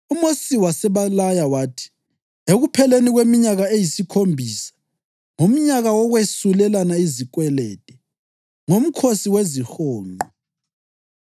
UMosi wasebalaya wathi, “Ekupheleni kweminyaka eyisikhombisa, ngomnyaka wokwesulelana izikwelede, ngoMkhosi weziHonqo,